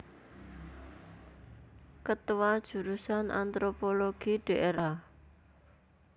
Ketua Jurusan Antropologi Dra